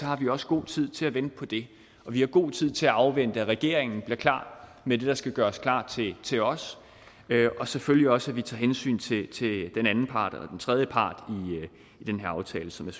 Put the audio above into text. har vi også god tid til at vente på det vi har god tid til at afvente at regeringen bliver klar med det der skal gøres klar til os og selvfølgelig også at vi tager hensyn til den anden part eller den tredje part i den her aftale som er